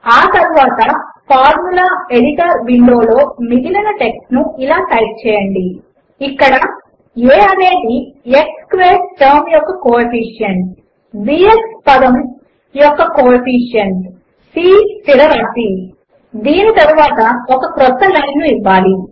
ఆ తరువాత formula editor window లో మిగిలిన టెక్స్ట్ ను ఇలా టైప్ చేయండి ఇక్కడ aఅనేది x స్క్వేర్డ్ టర్మ్ యొక్క కోఎఫిషియెంట్ b x పదము యొక్క కోఎఫిషియెంట్ c స్థిర రాశి దీని తరువాత ఒక క్రొత్త లైన్ ను ఇవ్వాలి